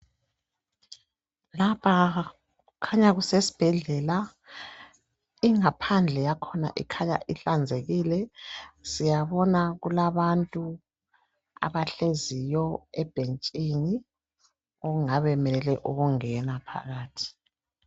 Lapha kukhanya kusesibhedlela. Ingaphandle yakhona ikhanya ihlanzekile. Siyabona kulabantu abahleziyo ebhentshini okungabe bemelele ukungena phakathi.